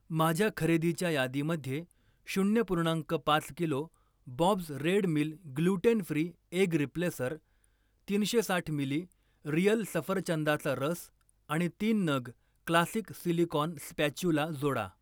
माझ्या खरेदीच्या यादीमध्ये शून्य पूर्णांक पाच kilo Bob's red mill gluten free egg replacer, तीनशे साठ मिली रिअल सफरचंदाचा रस आणि तीन नग क्लासिक सिलिकॉन स्पॅच्युला जोडा.